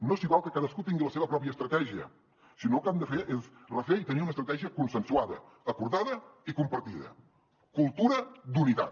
no s’hi val que cadascú tingui la seva pròpia estratègia sinó que el que hem de fer és refer i tenir una estratègia consensuada acordada i compartida cultura d’unitat